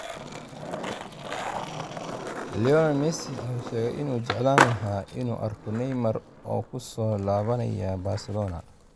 Lionel Messi ayaa sheegay inuu jeclaan lahaa inuu arko Neymar oo ku soo laabanaya Barcelona